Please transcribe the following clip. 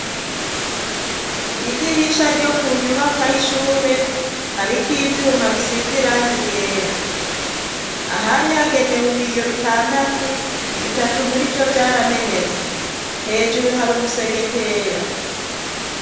Idirisha ryo ku nyubakwa y'ishure hariko ivyuma bisize irangi ryera ahari hagenewe ibiyo bitandatu bitatu murivyo vyaramenetse hejuru hari umusegetera.